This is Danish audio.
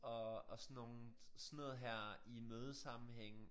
Og og sådan nogle sådan noget her i mødesammenhænge